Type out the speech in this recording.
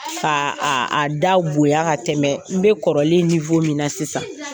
Ka a a da bonya ka tɛmɛ n bɛ kɔrɔlen min na sisan,